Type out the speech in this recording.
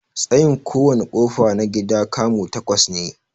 Tsayin kowana ƙofa na gida 'kamu' takwas ne.